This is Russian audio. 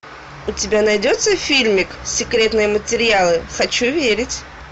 у тебя найдется фильмик секретные материалы хочу верить